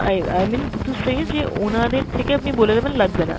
I i mean to say যে ওনাদের থেকে আপনি বলে দেবেন লাগবে না।